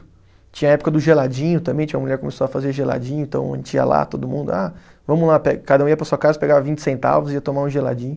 Tinha a época do geladinho também, tinha uma mulher que começou a fazer geladinho, então a gente ia lá, todo mundo, ah, vamos lá pe, cada um ia para a sua casa, pegar vinte centavos e ia tomar um geladinho.